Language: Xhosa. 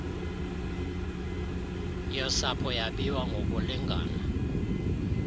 yosapho yabiwa ngokulingana